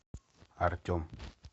артем